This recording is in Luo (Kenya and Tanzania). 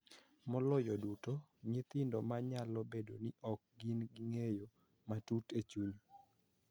Maloyo duto, nyithindo, ma nyalo bedo ni ok gin gi ng�eyo matut e chuny .